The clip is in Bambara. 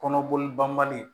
Kɔnɔboli banbali